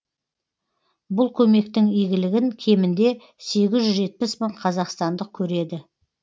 бұл көмектің игілігін кемінде сегіз жүз жетпіс мың қазақстандық көреді